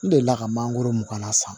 N delila ka mangoro mugana san